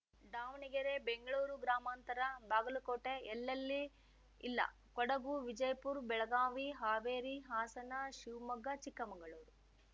ದಾವಣಗೆರೆ ಬೆಂಗ್ಳೂರು ಗ್ರಾಮಾಂತರ ಬಾಗಲಕೋಟೆ ಎಲ್ಲೆಲ್ಲಿ ಇಲ್ಲ ಕೊಡಗು ವಿಜಯಪುರ್ ಬೆಳಗಾವಿ ಹಾವೇರಿ ಹಾಸನ ಶಿವಮೊಗ್ಗ ಚಿಕ್ಕಮಂಗಳೂರು